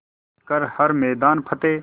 कर हर मैदान फ़तेह